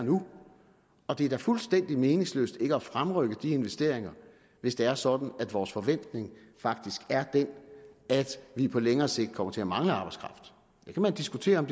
og nu det er da fuldstændig meningsløst ikke at fremrykke de investeringer hvis det er sådan at vores forventning faktisk er at vi på længere sigt kommer til at mangle arbejdskraft det kan man diskutere om